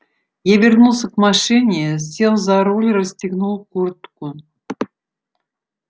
я вернулся к машине сел за руль расстегнул куртку